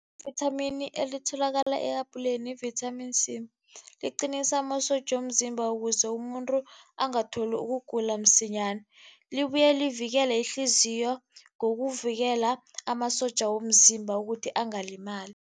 Ivithamini elitholakala ehabhuleni yi-vitamin C, liqinisa amasotja womzimba ukuze umuntu angatholi ukugula msinyana. Libuye livikele ihliziyo ngokuvikela amasotja womzimba ukuthi angalimali.